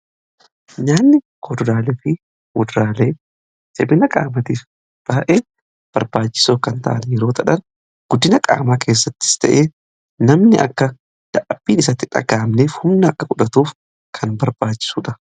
Nyaanni kuduraalee fi muduraalee jabina qaamatiif baay'ee barbaachisoo kan ta'e yeroo ta'an guddina qaamaa keessattis ta'ee namni akka dadhabbiin isaatti dhaga'amneef humna akka fudhatuuf kan barbaachisuudha.